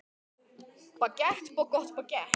Hann bíður við næsta götuhorn.